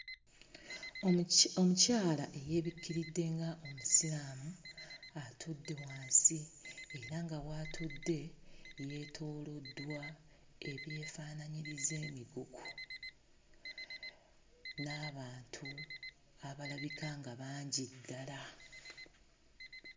Omuki omukyala eyeebikkiridde nga Omusiraamu atudde wansi era nga w'atudde yeetooloddwa ebyefaanaanyiriza emigugu n'abantu abalabika nga bangi ddala.